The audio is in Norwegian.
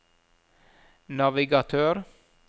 navigatør